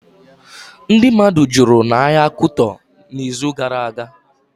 Ndị mmadụ jụrụ n'ahịa Kuto ịzụ gara aga